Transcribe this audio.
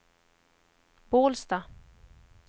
Bålsta